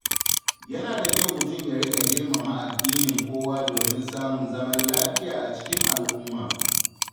Yana da kyau mutum ya riƙa girmama addinin kowa domin samun zaman lafiya a cikin al’umma.